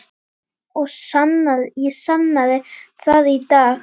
Ég sannaði það í dag.